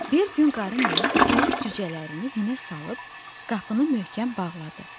Bir gün Qarı Nənə toyuq cücələrini hinə salıb qapını möhkəm bağladı.